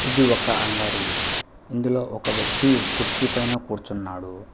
ఇది ఒక అంగడి ఇందులో ఒక వ్యక్తి కుర్చీ పైన కూర్చున్నాడు.